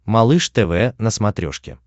малыш тв на смотрешке